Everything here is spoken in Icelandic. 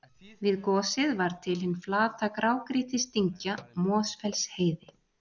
við gosið varð til hin flata grágrýtisdyngja mosfellsheiði